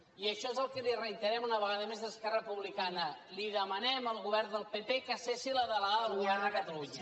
i això és el que li reiterem una vegada més esquerra republicana li demanem al govern de pp que cessi la delegada del govern de cata lunya